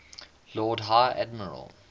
lord high admiral